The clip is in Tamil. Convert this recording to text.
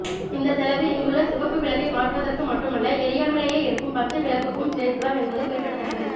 இந்த செலவு இங்குள்ள சிவப்பு விளக்கை மாற்றுவதற்கு மட்டுமல்ல எரியாமலேயே இருக்கும் பச்சை விளக்குக்கும் சேர்த்துதான் என்பது குறிப்பிடத்தக்கது